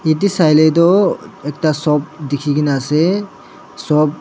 te sailae toh ekta sop dikhinaase edu sop